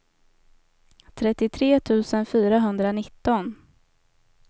trettiotre tusen fyrahundranitton